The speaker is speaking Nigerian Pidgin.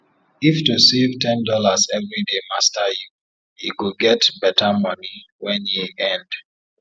if to save ten dollars everyday master youe go get better money wen year end